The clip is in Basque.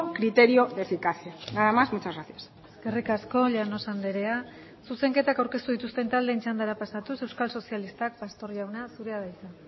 criterio de eficacia nada más muchas gracias eskerrik asko llanos andrea zuzenketak aurkeztu dituzten taldeen txandara pasatuz euskal sozialistak pastor jauna zurea da hitza